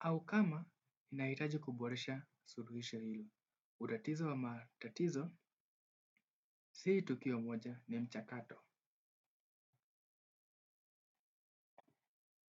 au kama inahitaji kuboresha suruhisho hilo. Utatizo wa matatizo, sii tukio moja ni mchatato.